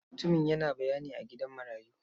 Mutumin yana bayani a gidan marayu.